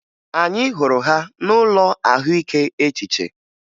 Anyị hụrụ ha n'ụlọ ahụike echiche